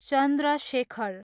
Chandra Shekhar